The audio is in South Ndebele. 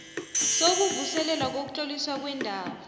sokuvuselelwa kokutloliswa kwendawo